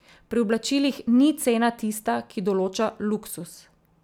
Pri oblačilih ni cena tista, ki določa luksuz.